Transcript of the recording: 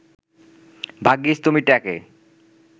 ভাগ্যিস তুমি ট্যাঁকে